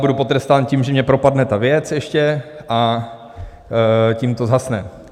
Budu potrestán tím, že mně propadne ta věc ještě, a tím to zhasne.